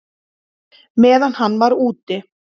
Meðan hann var úti?